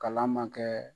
Kalan man kɛ